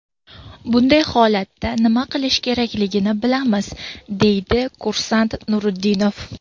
Bunday holatda nima qilish kerakligini bilamiz”, deydi kursant Nuriddinov.